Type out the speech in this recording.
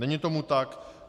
Není tomu tak.